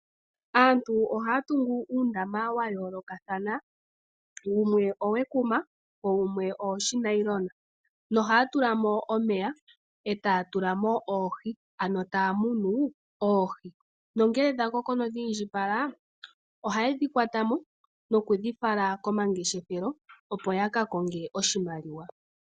Aantu ohaya tungu uundama wa yoolokathana. Wumwe owekuma wo wumwe owoonailona nohaa tula mo omeya e taya tula mo oohi, ano taa munu oohi. Ngele dha koko nodhi indjipala ohaye dhi kwata mo nokudhi fala komangeshefelo, opo ya ka konge oshimaliwa.